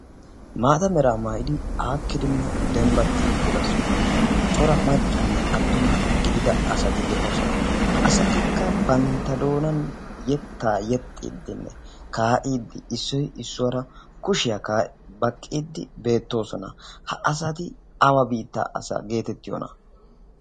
Maata mera maayyidi aakidinne dembbata sohuwan uttida cora maccanne attuma gidia asati de'oosona. ha asatikki bantta doonani yettaa yexxidinne kaa'i, issoy issuwaara kushiya baqqi kaa'ide beettoosona. ha asati awa biita asaa getettiyona.